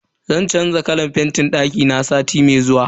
Zan canza kalan fentin dakina sati mai zuwa.